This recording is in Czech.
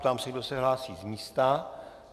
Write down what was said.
Ptám se, kdo se hlásí z místa.